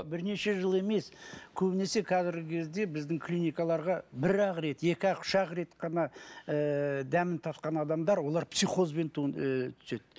бірнеше жыл емес көбінесе қазіргі кезде біздің клинакаларға бір ақ рет екі ақ үш ақ рет қана ыыы дәмін татқан адамдар олар психозбен ыыы түседі